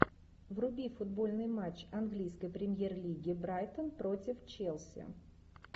вруби футбольный матч английской премьер лиги брайтон против челси